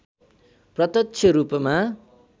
प्रत्यक्ष रूपमा